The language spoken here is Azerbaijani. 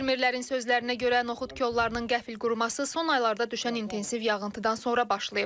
Fermerlərin sözlərinə görə, noxud kollarının qəfil quruması son aylarda düşən intensiv yağıntıdan sonra başlayıb.